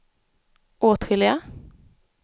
åtskilliga